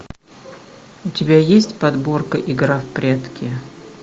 у тебя есть подборка игра в прятки